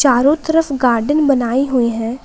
चारों तरफ गार्डन बनाई हुई है ।